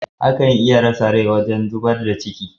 Akan iya rasa rai wajen zibar da ci.